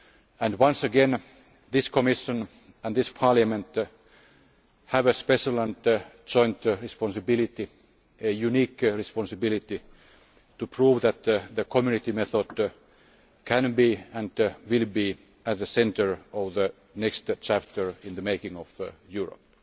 And once again, this Commission and this Parliament have a special and joint responsibility a unique responsibility to prove that the Community method can be and will be at the centre of the next chapter in the making of Europe.